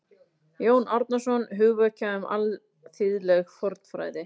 Jón Árnason: Hugvekja um alþýðleg fornfræði